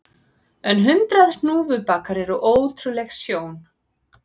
En hundrað hnúfubakar eru ótrúleg sjón